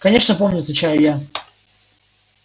конечно помню отвечаю я